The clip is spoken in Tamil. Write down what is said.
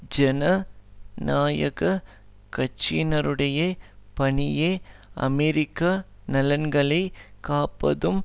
ஜன நாயகக் கட்சியினருடைய பணியே அமெரிக்கா நலன்களை காப்பதும்